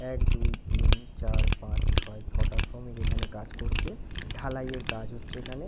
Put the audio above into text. এক দুই তিন চার পাঁচ ছয় ছটা শ্রমিক এখানে কাজ করছে। ঢালাই এর কাজ হচ্ছে এখানে--